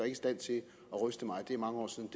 i stand til at ryste mig det er mange år siden